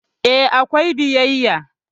E, akwai biyayya.